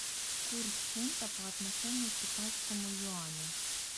курс фунта по отношению к китайскому юаню